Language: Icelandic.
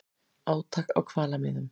Átök á hvalamiðum